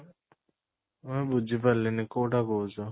ମୁଁ ବୁଝି ପାରିଲିନି କୋଉଟା କହୁଛୁ ?